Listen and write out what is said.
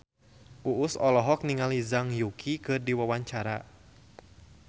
Uus olohok ningali Zhang Yuqi keur diwawancara